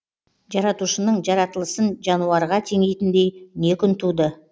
жаратушының жаратылысын жануарға теңейтіндей не күн туды